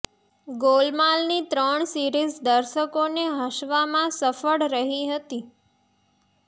ગોલમાલ ની ત્રણ સીરિઝ દર્શોકો ને હસવામાં સફળ રહી હતી